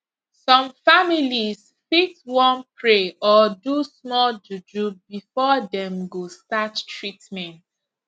some families fit wan pray or do small juju before dem go start treatment